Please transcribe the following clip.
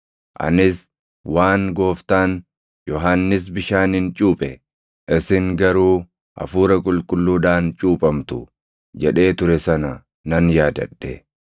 Anis waan Gooftaan, ‘Yohannis bishaaniin cuuphe; isin garuu Hafuura Qulqulluudhaan cuuphamtu’ jedhee ture sana nan yaadadhe.